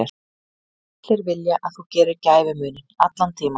Allir vilja að þú gerir gæfumuninn, allan tímann.